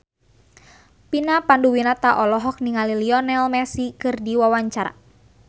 Vina Panduwinata olohok ningali Lionel Messi keur diwawancara